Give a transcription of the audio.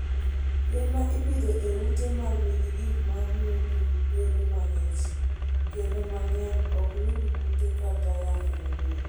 Yien ma ipidho e ute ma nigi gik ma miyo pi bedo mang'ich, kinde mang'eny ok yud kute kata yamo mager.